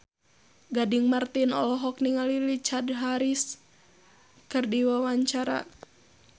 Gading Marten olohok ningali Richard Harris keur diwawancara